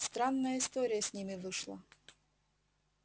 странная история с ними вышла